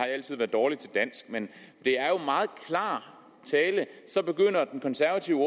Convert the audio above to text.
altid været dårlig til dansk men det er jo meget klar tale så begynder den konservative